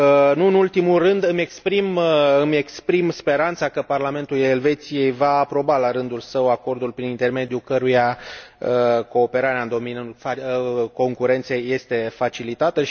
Nu în ultimul rând, îmi exprim speranța că Parlamentul Elveției va aproba, la rândul său, acordul prin intermediul căruia cooperarea în domeniul concurenței este facilitată.